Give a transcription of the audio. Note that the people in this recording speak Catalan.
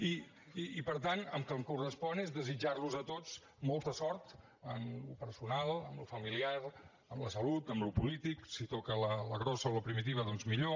i per tant el que em correspon és desitjar los a tots molta sort en el personal en el familiar en la salut en el polític si toca la grossa o la primitiva doncs millor